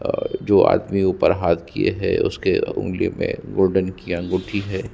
ओ जो आदमी ऊपर हाथ किये है उसके ऊँगली में गोल्डन की अंगूठी है।